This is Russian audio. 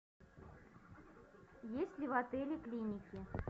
есть ли в отеле клиники